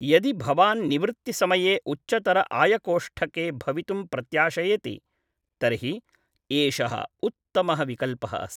यदि भवान् निवृत्तिसमये उच्चतर आयकोष्ठके भवितुं प्रत्याशयति तर्हि एषः उत्तमः विकल्पः अस्ति।